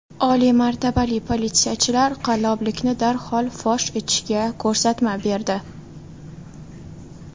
Oliy martabali politsiyachilar qalloblikni darhol fosh etishga ko‘rsatma berdi.